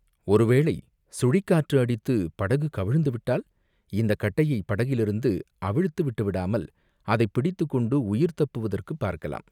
ஒருவேளை சுழிக்காற்று அடித்து, படகு கவிழ்ந்து விட்டால் இந்தக் கட்டையைப் படகிலிருந்து அவிழ்த்து விட்டுவிடாமல், அதைப் பிடித்துக் கொண்டு உயிர் தப்புவதற்குப் பார்க்கலாம்.